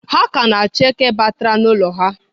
Ha ka na-achọ eke batara n'ụlọ ha.